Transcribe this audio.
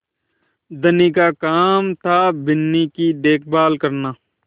धनी का काम थाबिन्नी की देखभाल करना